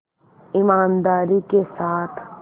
ईमानदारी के साथ